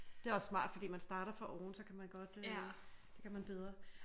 Det er også smart fordi man starter fra oven så kan godt øh det kan man bedre